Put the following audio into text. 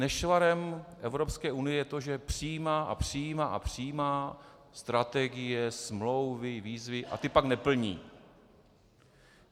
Nešvarem Evropské unie je to, že přijímá a přijímá a přijímá strategie, smlouvy, výzvy a ty pak neplní.